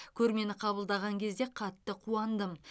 көрмені қабылдаған кезде қатты қуандым